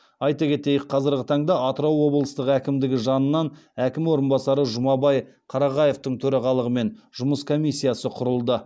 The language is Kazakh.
айта кетейік қазіргі таңда атырау облыстық әкімдігі жанынан әкім орынбасары жұмабай қарағаевтың төрағалығымен жұмыс комиссиясы құрылды